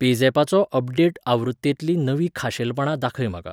पेझॅपाचो update आवृत्तेंतलीं नवीं खाशेलपणां दाखय म्हाका!